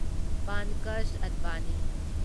Pankaj Advani